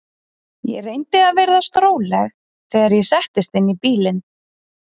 Ég reyndi að virðast róleg þegar ég settist inn í bílinn.